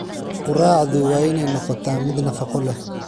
Quraacdu waa inay noqotaa mid nafaqo leh.